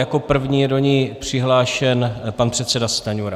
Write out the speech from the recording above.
Jako první je do ní přihlášen pan předseda Stanjura.